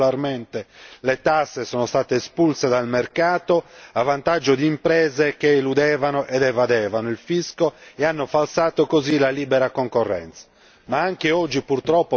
Imprese che pagavano regolarmente le tasse sono state espulse dal mercato a vantaggio di imprese che eludevano ed evadevano il fisco e hanno falsato così la libera concorrenza.